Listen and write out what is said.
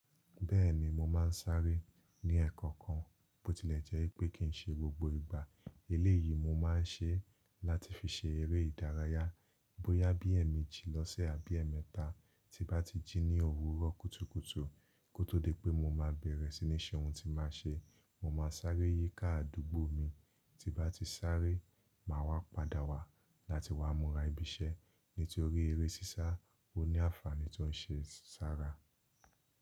Bẹ́ẹ̀ni mo máa ń sáré ní ẹ̀ẹ̀kan kan bó tilẹ̀ jẹ́ pé kí n ṣe gbogbo ìgbà eléyìí mo máa ń ṣe láti fi ṣe eré ìdárayá bóyá bí ẹ̀ẹ̀me ji lọ́sẹ̀ àbí ẹ̀ẹ̀mẹta tí bá ti jí ní òwúrọ̀ kùtùkùtù kó tó di pé mo máa bẹ̀rẹ̀ sí ní ṣe ohun tí máa ṣe. Mo máa sáré yíká àdúgbò mi tí bá ti sáré màá wá padà wá láti wá múra ibi iṣẹ́ nítorí eré sísá ó ní àǹfààní tí ó ń ṣe sára.